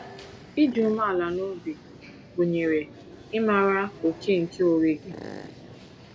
Ịdị umeala n’obi gụnyere ịmara oke nke onwe gị.